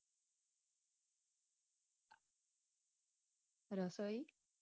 રસોઈ